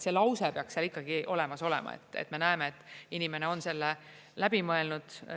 See lause peaks seal ikkagi olemas olema, et me näeme, et inimene on selle läbi mõelnud.